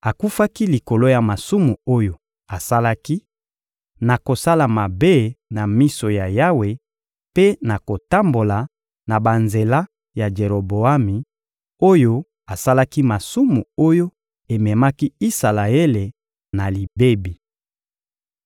Akufaki likolo ya masumu oyo asalaki, na kosala mabe na miso ya Yawe mpe na kotambola na banzela ya Jeroboami oyo asalaki masumu oyo ememaki Isalaele na libebi.